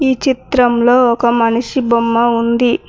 ఈ చిత్రంలో ఒక మనిషి బొమ్మ ఉంది.